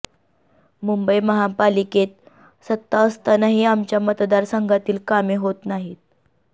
मुंबई महापालिकेत सत्ता असतानाही आमच्या मतदारसंघातील कामे होत नाहीत